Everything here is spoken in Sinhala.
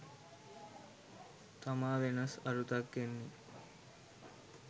තමා වෙනස් අරුතක් එන්නේ.